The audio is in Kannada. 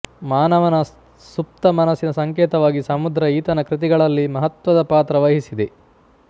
ಮಾನವನ ಸುಪ್ತ ಮನಸ್ಸಿನ ಸಂಕೇತವಾಗಿ ಸಮುದ್ರ ಈತನ ಕೃತಿಗಳಲ್ಲಿ ಮಹತ್ತ್ವದ ಪಾತ್ರ ವಹಿಸಿದೆ